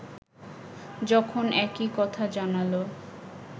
যখন একই কথা জানাল